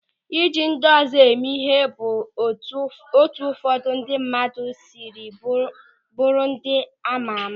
Ịji ndị ọzọ eme ịhe bụ etu ụfọdụ ndị mmadụ sịrị bụrụ ndị a maara ama.